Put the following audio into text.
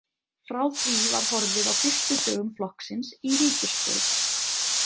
Frá því var horfið á fyrstu dögum flokksins í ríkisstjórn.